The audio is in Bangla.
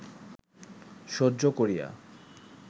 সহ্য করিয়া